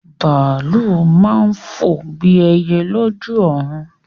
Bàálù máa ń fò bí ẹyẹ lójú ọ̀run.